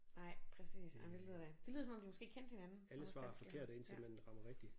Nej præcis jamen det lyder da det lyder som om de måske kendte hinanden vores dansklærere ja